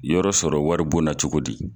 Yɔrɔ sɔrɔ wari bon na cogo di.